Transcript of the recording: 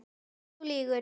Uss, þú lýgur.